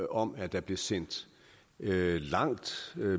om at der bliver sendt et langt